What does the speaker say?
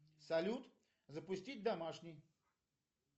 салют запустить домашний